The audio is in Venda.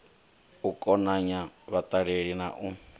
u konanya vhaṱaleli na u